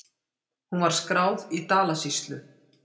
Hún var skráð í Dalasýslu.